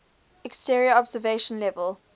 exterior observation level